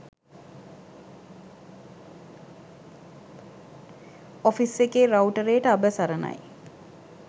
office එකේ රවුටරේට අබ සරණයි